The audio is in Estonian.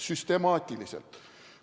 Süstemaatiliselt.